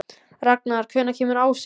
Ragnar, hvenær kemur ásinn?